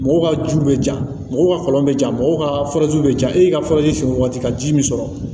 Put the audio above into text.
Mɔgɔw ka juw bɛ ja mɔgɔw ka kɔlɔn bɛ ja mɔgɔw ka bɛ jan e y'i ka faraji sen waati ka ji min sɔrɔ